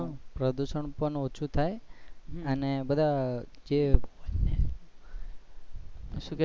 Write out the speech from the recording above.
પ્રદુશન પણ ઓછું થાય અને બધા જે